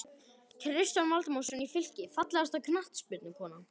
Kristján Valdimarsson í Fylki Fallegasta knattspyrnukonan?